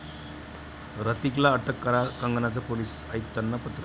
ह्रतिकला अटक करा, कंगनाचं पोलीस आयुक्तांना पत्र